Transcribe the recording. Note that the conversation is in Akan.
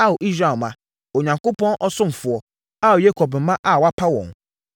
Ao Israel mma, Onyankopɔn ɔsomfoɔ, Ao Yakob mma a wapa wɔn.